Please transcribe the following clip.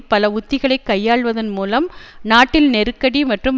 பல உத்திகளை கையாள்வதன் மூலம் நாட்டில் நெருக்கடி மற்றும்